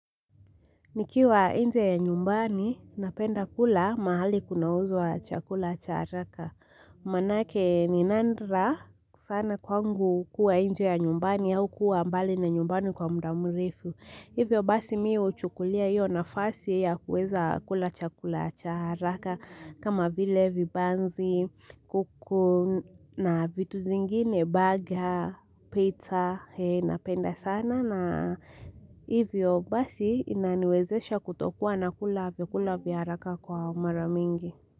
Nikiwa inje ya nyumbani, napenda kula mahali kuna uzwa chakula cha haraka. Manake ninandra sana kwangu kuwa inje ya nyumbani au kuwa mbali na nyumbani kwa mudamurifu. Hivyo basi miu uchukulia hiyo nafasi ya kuweza kula chakula cha haraka. Kama vile vibanzi, kuku na vitu zingine, burger, pita, napenda sana. Nana hivyo basi inaniwezesha kutokuwa na kulavyo, kulavya haraka kwa umaramingi.